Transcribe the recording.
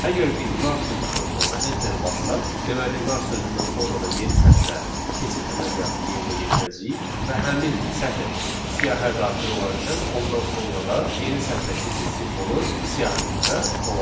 Əgər biz nar sözündən sonra enter-i bassaq, deməli nar sözündən sonra da yeni sətrə keçid əməliyyatı yerinə yetirəcəyik və həmin sətr siyahıya daxil olarkən ondan sonra da yeni sətrə keçid simvolu siyahımızda olacaq.